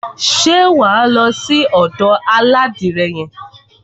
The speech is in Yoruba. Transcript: Ṣé wà á lọ sí ọ̀dò aládìrẹ yẹn?